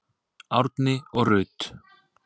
Árni og Rut.